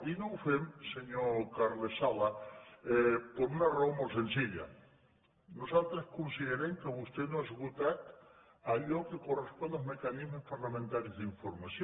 i no ho fem senyor carles sala per una raó molt senzilla nos altres considerem que vostè no ha esgotat allò que cor respon als mecanismes parlamentaris d’informació